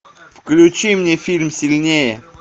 включи мне фильм сильнее